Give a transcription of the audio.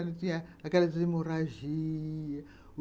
Ela tinha aquela desemorragia.